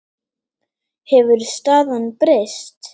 Hefur staðan breyst?